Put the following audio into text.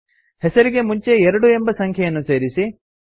ಹೆಸರಿಗೆ ಮುಂಚೆ 2 ಎಂಬ ಸಂಖ್ಯೆಯನ್ನು ಸೇರಿಸಿ